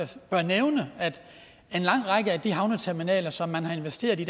bør nævne at en lang række af de havneterminaler som man har investeret i